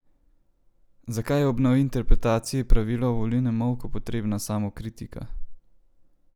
Zakaj je ob novi interpretaciji pravila o volilnem molku potrebna samokritika?